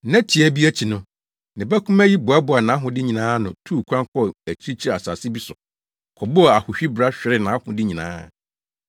“Nna tiaa bi akyi no, ne ba kumaa yi boaboaa nʼahode nyinaa ano tuu kwan kɔɔ akyirikyiri asase bi so kɔbɔɔ ahohwi bra hweree nʼahode nyinaa.